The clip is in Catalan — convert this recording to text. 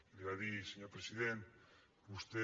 li va dir senyor president vostè